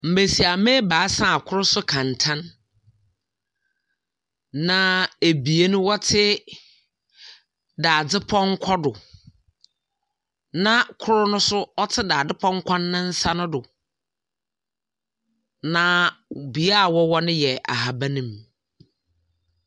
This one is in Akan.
Mmesiamma ebaasa a ɔkor so kɛntɛn, na ebien wɔtse dadze pɔnkɔ do, na kor no nso ɔtse dadze pɔnkɔ nensa no do. Na bea a wɔwɔ no yɛ ahaban mu.